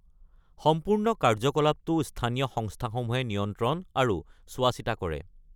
সম্পূৰ্ণ কাৰ্য্যকলাপটো স্থানীয় সংস্থাসমূহে নিয়ন্ত্ৰণ আৰু চোৱা-চিতা কৰে।